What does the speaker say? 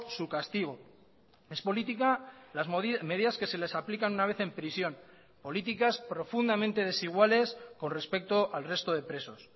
su castigo es política las medidas que se les aplican una vez en prisión políticas profundamente desiguales con respecto al resto de presos